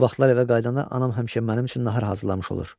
Bu vaxtlar evə qayıdanda anam həmişə mənim üçün nahar hazırlamış olur.